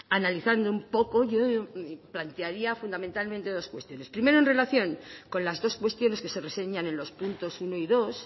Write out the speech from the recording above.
analizando un poco yo plantearía fundamentalmente dos cuestiones primero en relación con las dos cuestiones que se reseñan en los puntos uno y dos